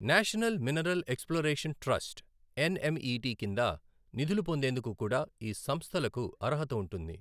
National mineral exploration trust NMET కింద నిధులు పొందేందుకు కూడా ఈ సంస్థలకు అర్హత ఉంటుంది.